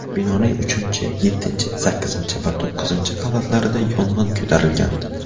Binoning uchinchi, yettinchi, sakkizinchi va to‘qqizinchi qavatlarida yong‘in ko‘tarilgandi.